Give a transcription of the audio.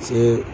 Se